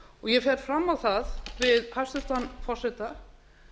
ég fer fram á það við hæstvirtan forseta